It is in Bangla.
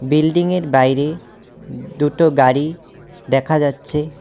বিল্ডিং -এর বাইরে দুটো গাড়ি দেখা যাচ্ছে।